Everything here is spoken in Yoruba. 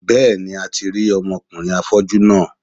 Bẹ́ẹ̀ni, a ti rí ọmọ kùnrin afọ́jú náà.